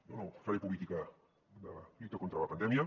jo no faré política de la lluita contra la pandèmia